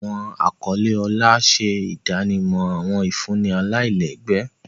Awọn akọle ọlá ṣe idanimọ awọn ifunni alailẹgbẹ.